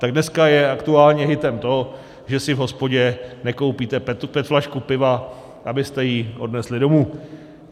Tak dneska je aktuálně hitem to, že si v hospodě nekoupíte petflašku piva, abyste ji odnesli domů.